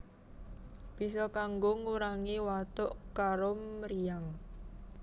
Bisa kanggo ngurangi watuk karo mriyang